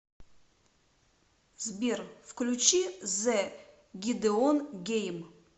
сбер включи зэ гидеон гейм